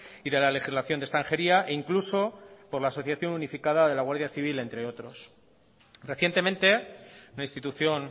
y de la legislación de extranjería e incluso por la asociación unificada de la guardia civil entre otros recientemente la institución